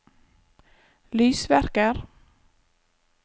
lysverker